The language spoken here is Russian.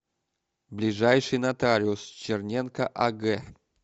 ближайший нотариус черненко аг